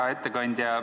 Hea ettekandja!